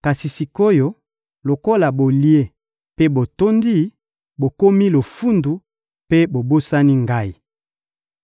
Kasi sik’oyo, lokola bolie mpe botondi, bokomi lofundu mpe bobosani Ngai.